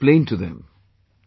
What do you explain to them